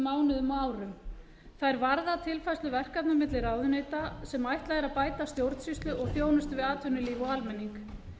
mánuðum og árum þær varða tilfærslu verkefna milli ráðuneyta sem ætlað er að bæta stjórnsýslu og þjónustu við atvinnulíf og almenning